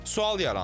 Sual yaranır.